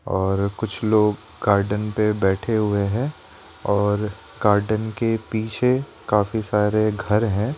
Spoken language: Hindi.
और कुछ लोग गार्डन पे बैठे हुए हैं और गार्डन के पीछे काफी सारे घर हैं।